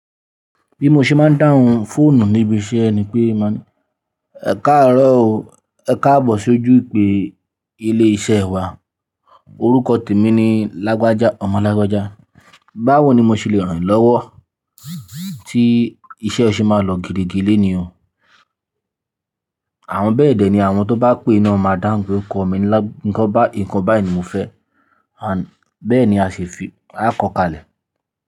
Bí mo ṣe máa ń dáhùn fóònù níbi iṣẹ́ ni pé màá ní, ẹ̀ka àárọ̀ o, ẹ̀ka àbò ṣojú ìpè ilé-iṣẹ́ wa. Orúkọ tèmi ni Lágbájá, Ọmọ Lágbájá. Báwo ni mo ṣe le ràn yín lọ́wọ́ tí iṣẹ́ ṣe máa lọ gidigidi léèní o. Àwọn bẹ́ẹ̀dẹ̀ ni àwọn tó bá pè náà máa dáhùn pé orúkọ mini lagba nkan bayi ni mo fe and beni ase fi akokale.